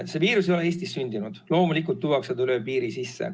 See viirus ei ole Eestis sündinud, loomulikult tuuakse seda üle piiri sisse.